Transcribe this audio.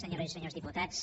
senyores i senyors diputats